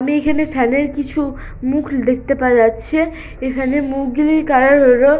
আমি এখানে ফ্যান -এর কিছু মুখ দেখতে পারা যাচ্ছে এখানে মুখগুলির কালার হল ।